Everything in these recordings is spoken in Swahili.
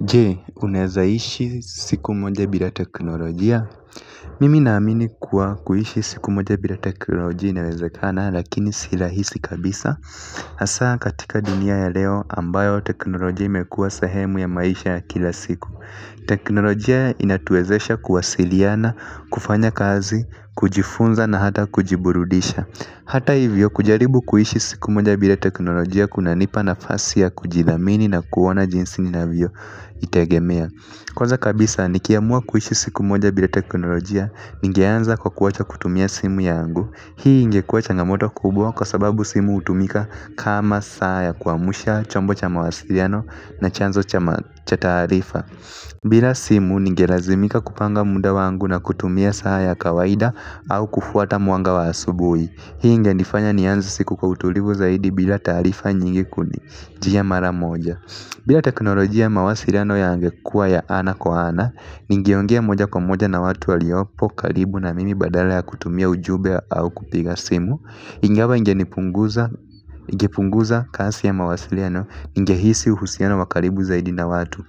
Je, unawezaishi siku moja bila teknolojia? Mimi naamini kuwa kuishi siku moja bila teknolojia inawezekana lakini si rahisi kabisa. Hasaa katika dunia ya leo ambayo teknolojia imekuwa sehemu ya maisha ya kila siku. Teknolojia inatuwezesha kuwasiliana, kufanya kazi, kujifunza na hata kujiburudisha. Hata hivyo kujaribu kuishi siku moja bila teknolojia kunanipa nafasi ya kujithamini na kuona jinsi ninavyo itegemea. Kwanza kabisa nikiamua kuishi siku moja bila teknolojia, ningeanza kwa kuacha kutumia simu yangu. Hii ingekuwa changamoto kubwa kwa sababu simu hutumika kama saa ya kuamsha, chombo cha mawasiliano na chanzo cha taarifa. Bila simu ningelazimika kupanga muda wangu na kutumia saa ya kawaida au kufuata mwanga wa asubuhi. Hii ingenifanya nianze siku kwa utulivu zaidi bila taarifa nyingi kunijia mara moja. Bila teknolojia, mawasiliano yangekua ya ana kwa ana, ningeongea moja kwa moja na watu waliopo karibu na mimi badala ya kutumia ujumbe au kupiga simu, ingawa ingepunguza kasi ya mawasiliano, ningehisi uhusiano wa karibu zaidi na watu.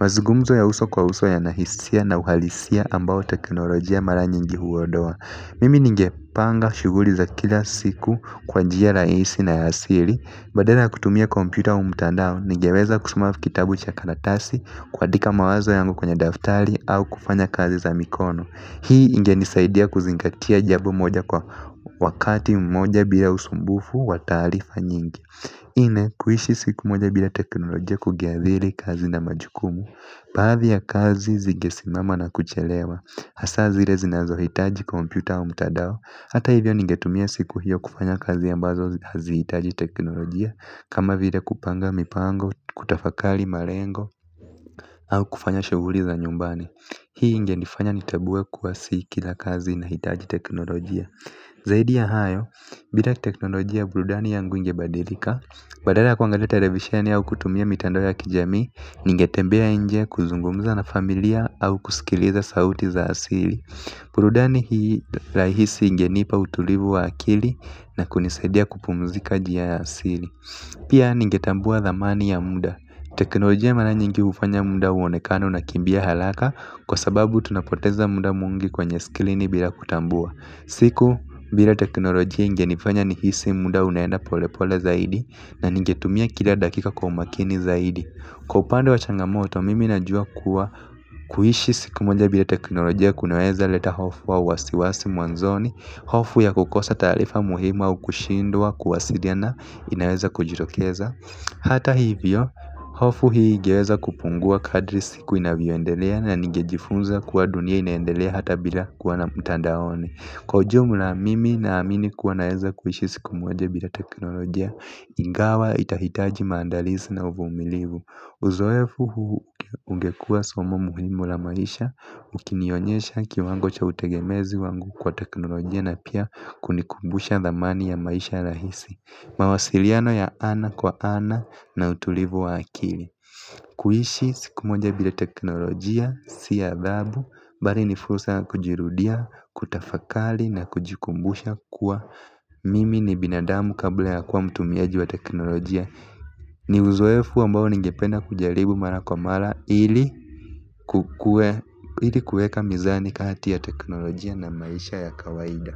Mazungumzo ya uso kwa uso yana hisia na uhalisia ambao teknolojia mara nyingi huondoa. Mimi ningepanga shughuli za kila siku kwa njia rahisi na ya siri. Badala ya kutumia kompyuta au mtandao, ningeweza kusoma kitabu cha karatasi, kuandika mawazo yangu kwenye daftari au kufanya kazi za mikono. Hii ingenisaidia kuzingatia jambo moja kwa wakati mmoja bila usumbufu wa taarifa nyingi. Nne, kuishi siku moja bila teknolojia kungeathiri kazi na majukumu. Baadhi ya kazi zingesimama na kuchelewa. Hasa zile zinazohitaji kompyuta au mtandao. Hata hivyo ningetumia siku hiyo kufanya kazi ambazo hazihitaji teknolojia kama vile kupanga mipango, kutafakari malengo au kufanya shughuli za nyumbani. Hii ingenifanya nitambue kuwa si kila kazi inahitaji teknolojia. Zaidi ya hayo, bila teknolojia burudani yangu ingebadilika. Badala ya kuangalia televisheni au kutumia mitandao ya kijamii, ningetembea nje kuzungumza na familia au kusikiliza sauti za asili. Burudani hii rahisi ingenipa utulivu wa akili na kunisaidia kupumzika njia ya asili. Pia ningetambua dhamani ya muda. Teknolojia mara nyingi hufanya muda uonekane unakimbia haraka, kwa sababu tunapoteza muda mwingi kwenye skrini bila kutambua. Siku bila teknolojia ingenifanya nihisi muda unaenda pole pole zaidi na ningetumia kila dakika kwa umakini zaidi. Kwa upande wa changamoto mimi najua kuwa kuishi siku moja bila teknolojia kunaweza leta hofu au wasiwasi mwanzoni, hofu ya kukosa taarifa muhimu au kushindwa kuwasiliana inaweza kujitokeza. Hata hivyo hofu hii ingeweza kupungua kadri siku inavyoendelea na ningejifunza kuwa dunia inaendelea hata bila kuwa na mtandaoni. Kwa ujumla mimi na amini kuwa naweza kuishi siku moja bila teknolojia ingawa itahitaji maandalizi na uvumilivu. Uzoefu huu ungekua somo muhimu la maisha ukinionyesha kiwango cha utegemezi wangu kwa teknolojia na pia kunikumbusha dhamani ya maisha rahisi, mawasiliano ya ana kwa ana na utulivu wa akili. Kuishi siku moja bila teknolojia si adhabu bali ni fursa ya kujirudia, kutafakari na kujikumbusha kuwa mimi ni binadamu kabla ya kuwa mtumiaji wa teknolojia. Ni uzoefu ambao ningependa kujaribu mara kwa mara ili kuweka mizani kati ya teknolojia na maisha ya kawaida.